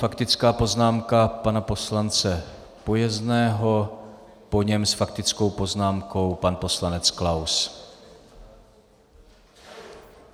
Faktická poznámka pana poslance Pojezného, po něm s faktickou poznámkou pan poslanec Klaus.